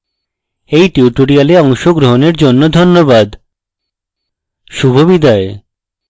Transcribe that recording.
এই tutorial অংশগ্রহণের জন্য ধন্যবাদ শুভবিদায়